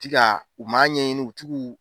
Ti ka u ma ɲɛɲini u tugu.